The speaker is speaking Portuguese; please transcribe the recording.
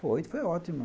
Foi, foi ótima.